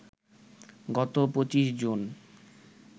গত ২৫ জুন